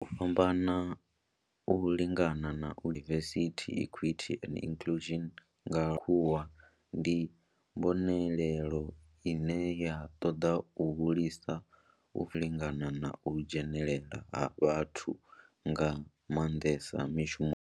U fhambana, u lingana na u dzhenelela diversity, equity and inclusion nga lwambo lwa tshikhuwa ndi mbonelelo ine ya toda u hulisa u farana zwavhudi, u lingana na u dzhenelela ha vhathu nga mandesa mishumoni.